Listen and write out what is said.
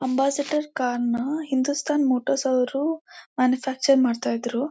Ambassador car ನ Hindustan Motors ರವರು manufacture ಮಾಡ್ತಾ ಇದ್ರೂ.